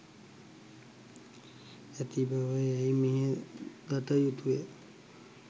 ඇති බව යැයි මෙය දත යුතුය